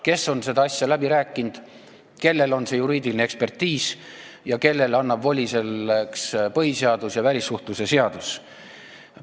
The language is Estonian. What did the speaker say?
Tema on seda asja läbi rääkinud, temal on juriidiline ekspertiis ja temale annavad selleks voli põhiseadus ja välissuhtlemisseadus.